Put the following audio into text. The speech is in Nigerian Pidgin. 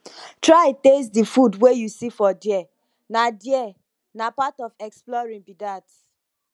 try taste the food wey you see for there na there na part of exploring be that